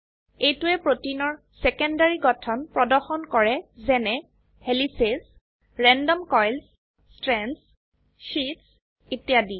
এইটোৱে প্ৰোটিনৰ সেকেন্ডাৰী গঠন প্ৰদৰ্শন কৰে যেনে helices random coils strands sheets ইত্যাদি